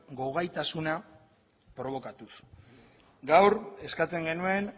gogaitasuna probokatuz gaur eskatzen genuen